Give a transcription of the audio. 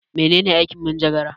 Mene ne aikin manjagara?